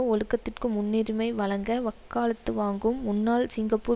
ஒழுக்கத்திற்கு முன்னிரிமை வழங்க வக்காலத்து வாங்கும் முன்னாள் சிங்கப்பூர்